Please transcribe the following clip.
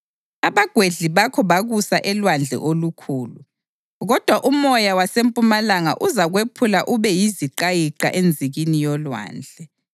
Abagwedli bakho bakusa elwandle olukhulu. Kodwa umoya wasempumalanga uzakwephula ube yiziqayiqa enzikini yolwandle.